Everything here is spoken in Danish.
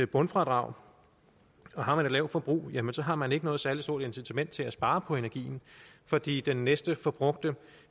bundfradrag og har man et lavt forbrug jamen så har man ikke noget særlig stort incitament til at spare på energien fordi den næste forbrugte